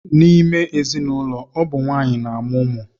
N'ime ezinụlọ, ọ bụ nwaanyị na-amụ ụmụ.